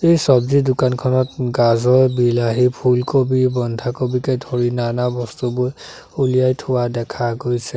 এই চব্জিৰ দোকানখনত গাজৰ বিলাহী ফুলকবি বন্ধাকবিকে ধৰি নানা বস্তুবোৰ ওলিয়াই থোৱা দেখা গৈছে।